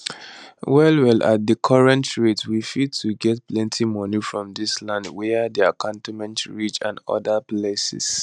well well at di current rates we fit to get plenty moni from dis lands wia dey cantonment ridge and odas places